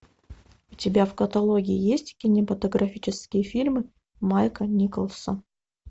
у тебя в каталоге есть кинематографический фильм майка николса